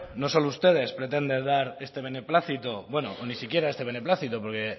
no solo ustedes pretenden dar este beneplácito bueno ni siquiera este beneplácito porque